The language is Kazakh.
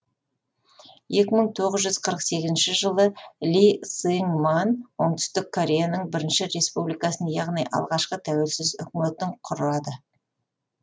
екі мың тоғыз жүз қырық сегізінші жылы ли сың ман оңтүстік кореяның бірінші республикасын яғни алғашқы тәуелсіз үкіметін құрады